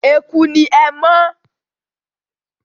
Eku ni ẹmọ́.